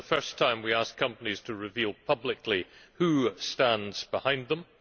for the first time we ask companies to reveal publicly who stands behind them.